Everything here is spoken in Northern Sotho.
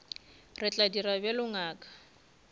re tla dira bjalo ngaka